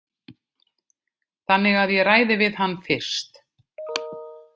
Þannig að ég ræði við hann fyrst.